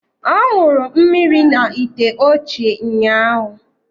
Ọ ṅụrụ mmiri n’ite ochie ụnyahụ